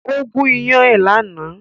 Ó gún iyán ẹ̀ lánàá